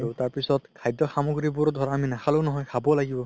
তাৰপিছত খাদ্য সামগ্ৰীবোৰও ধৰা আমি নাখালেও নহয় আমি খাবও লাগিব